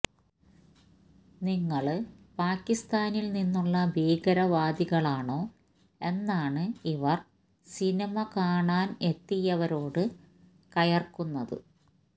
നിങ്ങള് പാക്കിസ്ഥാനില് നിന്നുള്ള ഭീകരവാദികളാണോ എന്നാണ് ഇവര് സിനിമ കാണാനെത്തിയവരോട് കയര്ക്കുന്നത്